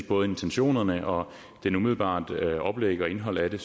både intentionerne og det umiddelbare oplæg og indhold af det